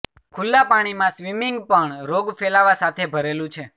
ખુલ્લા પાણીમાં સ્વિમિંગ પણ રોગ ફેલાવા સાથે ભરેલું છે